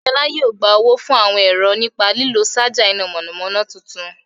Adéọlá yóò gba owó fún àwọn ẹ̀rọ nípa lílo ṣaja iná mọ̀nàmọ́ná tuntun.